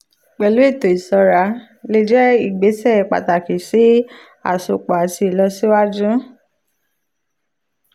pẹ̀lú ètò ìṣọ́ra starlink lè jẹ́ ìgbésẹ̀ pàtàkì sí àsopọ̀ àti ìlọsíwájú.